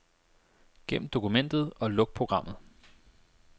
Gem dokumentet og luk programmet.